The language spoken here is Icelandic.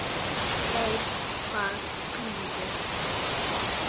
Veit hvað bíður.